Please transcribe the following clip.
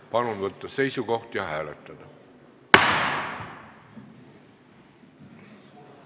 Palun võtta seisukoht ja hääletada!